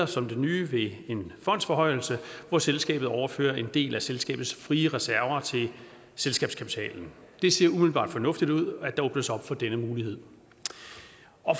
som det nye ved en fondsforhøjelse hvor selskabet overfører en del af selskabets frie reserver til selskabskapitalen det ser umiddelbart fornuftigt ud at der åbnes op for denne mulighed